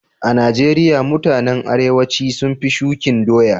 A'Nijeria mutanen arewanci sun fi shukin doya.